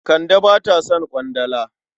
Kande ba ta son ƙwandala.